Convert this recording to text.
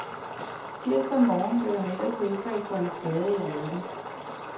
Tirsdag morgen blev han ellers helbredt for en skade i ryggen.